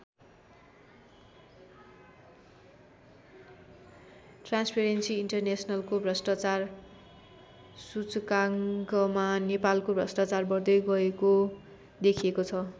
Transparency इन्टरनेसनलको भ्रष्टाचार सूचकाङ्कमा नेपालको भ्रष्टाचार बढ्दै गएको देखिएको छ।